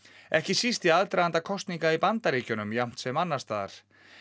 ekki síst í aðdraganda kosninga í Bandaríkjunum jafnt sem annars staðar